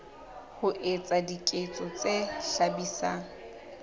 ho etsa diketso tse hlabisang